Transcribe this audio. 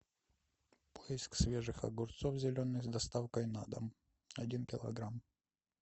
поиск свежих огурцов зеленых с доставкой на дом один килограмм